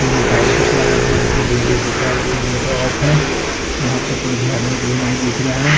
Room में टाइश विश लगा हुआ है यहाँ पर गेट है सीसा वाला चे गेट ऑफ़ है वहा पर कोई भी आदमी वादमी नही दिखरा है।